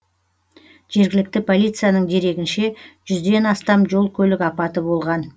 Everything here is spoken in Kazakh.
жергілікті полицияның дерегінше жүзден астам жол көлік апаты болған